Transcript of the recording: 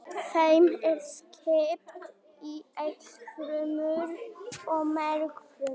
Þeim er skipt í eitilfrumur og mergfrumur.